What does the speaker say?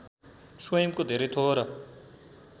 स्वयंको धेरै थोर